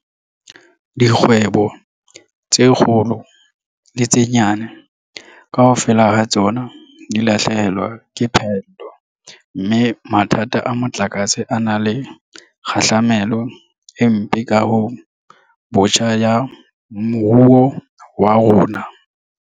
Dikgwebo tse kgolo le tse nyane, kaofela ha tsona di lahlehelwa ke phaello mme mathata a motlakase a na le kgahlamelo e mpe kahong botjha ya moruo wa rona.